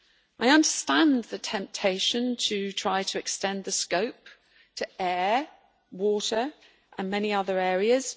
I understand the temptation to try to extend the scope to air, water and many other areas